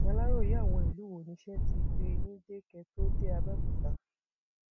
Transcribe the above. aláròye àwọn ìlú wo niṣẹ ti gbé yín dé kẹ ẹ tóó dé abẹọkúta